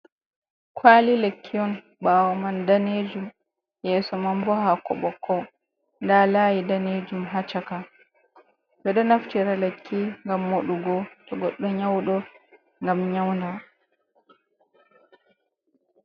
Kwali lekki on, ɓaawo man daneejum yeeso man bo haako ɓokko, nda laayi daneejum ha caka, ɓe ɗo naftira lekki ngam moɗugo to goɗɗo nyauɗo ngam nyaunda.